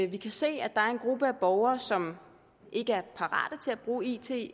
vi kan se at der er en gruppe af borgere som ikke er parate til at bruge it